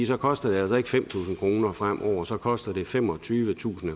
så koster det altså ikke fem tusind kroner fremover så koster det femogtyvetusind